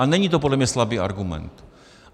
A není to podle mě slabý argument.